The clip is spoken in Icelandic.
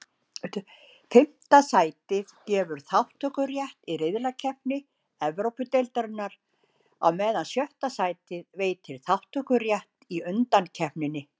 Fimmta sætið gefur þátttökurétt í riðlakeppni Evrópudeildarinnar, á meðan sjötta sætið veitir þátttökurétt í undankeppninni.